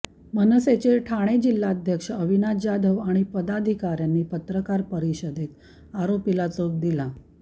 मनसेचे ठाणे जिल्हाध्यक्ष अविनाश जाधव आणि पदाधिकाऱ्यांनी पत्रकार परिषदेत आरोपीला चोप दिला